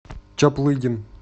чаплыгин